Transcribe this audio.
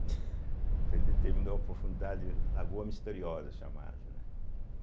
Né, então ele determinou a profundidade, Lagoa Misteriosa chamada, né?